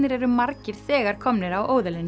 eru margir þegar komnir á